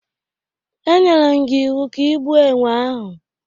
E nyerem gi iwu ka ị gbuo enwe ahụ!